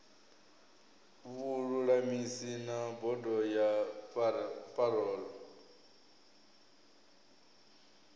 vhululamisi na bodo ya parole